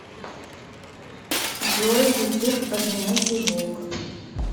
джой ютуб одинокий волк